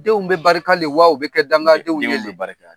Denw bɛ barika le wa, u bɛ kɛ danga denw ye le? Denw bɛ barika!